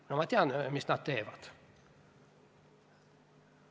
No ma tean, mida nad teevad.